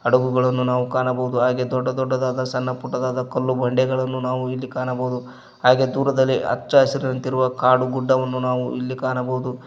ಹಡಗುಗಳನ್ನು ನಾವು ಕಾಣಬೋದು ದೊಡ್ಡ ದೊಡ್ಡದಾದ ಸಣ್ಣಪುಟ್ಟದಾದ ಕಲ್ಲು ಬಂಡೆಗಳನ್ನು ಇಲ್ಲಿ ಕಾಣಬೋದು ಹಾಗೆ ದೂರದಲ್ಲಿ ಅಚ್ಚ ಹಸಿರಿನಂತಿರುವ ಕಾಡು ಗುಡ್ಡವನ್ನು ನಾವು ಇಲ್ಲಿ ಕಾಣಬೋದು.